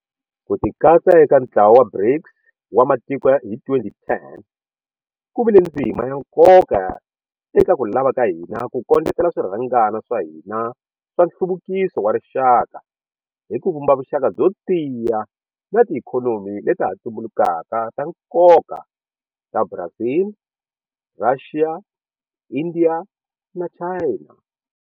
Ku tikatsa eka ntlawa wa BRICS wa matiko hi 2010 ku vi le ndzima ya nkoka eka ku lava ka hina ku kondletela swirhangana swa hina swa nhluvukiso wa rixaka hi ku vumba vuxaka byo tiya na tiikhonomi leta ha tumbulukaka ta nkoka ta Brazil, Russia, India na China.